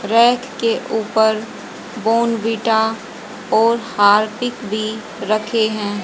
Rack के ऊपर Bournvita और हार्पिक भी रखे हैं।